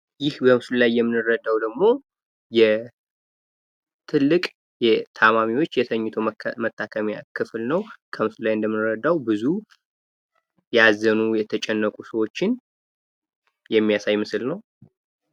ይህ በምስሉ ላይ የምንረዳው ደግሞ ትልቅ የተኝቶ ታካሚዎች ክፍል ነው። ብዙ ያዘኑ ሰዎች ይታያሉ።